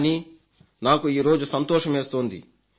కానీ నాకు ఈరోజు సంతోషమేస్తోంది